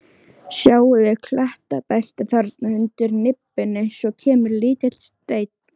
Sjáðu klettabeltið þarna undir nibbunni, svo kemur lítill steinn.